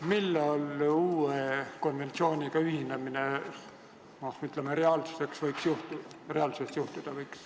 Millal uue konventsiooniga ühinemine reaalsuses teoks saada võiks?